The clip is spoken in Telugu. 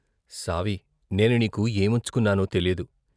సావీ నేను నీకు ఏమిచ్చుకున్నానో తెలీదు.